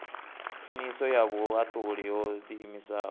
khwiniso ya vhuhaṱuli ho ḓiimisaho